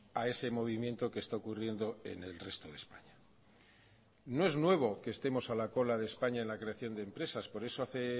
a ese movimiento que está ocurriendo en el resto de españa no es nuevo que estemos a la cola de españa en la creación de empresas por eso hace